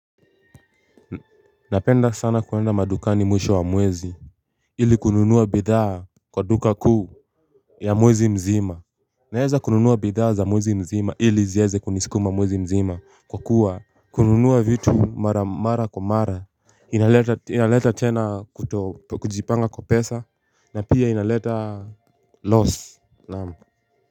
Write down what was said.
Napenda sana kuenda madukani mwisho wa mwezi ili kununuwa bidhaa kwa duka kuu ya mwezi mzima Naeza kununuwa bidhaa za mwezi mzima ili zieze kunisikuma mwezi mzima kwa kuwa kununuwa vitu mara mara kwa mara inaleta inaleta tena kutojipanga kwa pesa na pia inaleta loss naam.